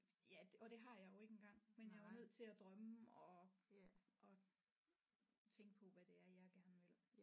Ja og det har jeg jo ikke engang men jeg er jo nødt til at drømme og og tænke på hvad det er jeg gerne vil